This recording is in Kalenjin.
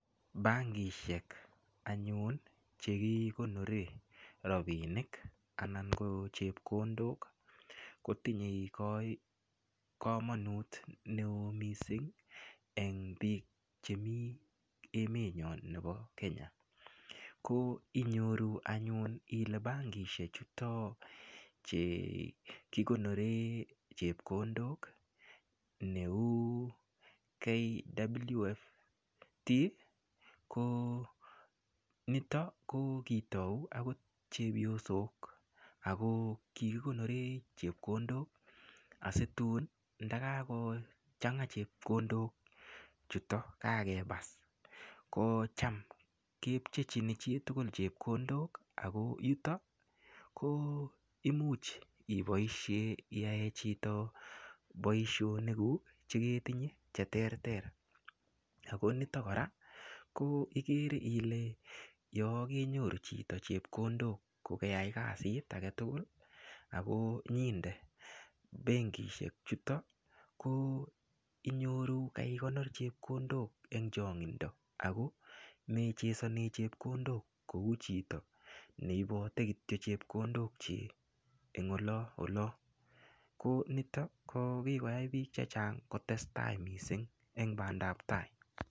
Bankishek anyun chekikonore ropinik anan ko chepkondok kotinyei komonut neo mising eng biik chemi emetnyo nebo Kenya ko inyoru anyun ile bankishek chuto chekikonore chepkondok neu KWFT ko nito ko kitou akot chepyosok ako kikikonore chepkondok asitun ndakakochanga chepkondok chuto kakepas ko cham kepchechini chitugul chepkondok ako yuto ko imuch iboishe iyae chito boishonik kuk cheketinye che ter ter ako nito kora ko igere ile yo kenyoru chito chepkondok kokeyai kasit age tugul ako nyinde benkishek chuto koinyoru kaikonor chepkondok eng chong'indo ako mechesone chepkondok kou chito neibote kityo chepkondok chii ing olo olo ko nito ko kikoyai biik che chang kotestai mising eng bandaptai.